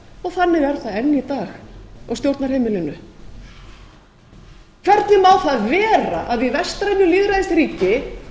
og þannig er það enn í dag á stjórnarheimilinu hvernig má það vera að í vestrænu lýðræðisríki